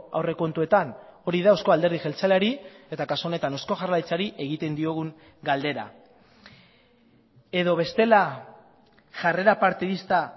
aurrekontuetan hori da euzko alderdi jeltzaleari eta kasu honetan eusko jaurlaritzari egiten diogun galdera edo bestela jarrera partidista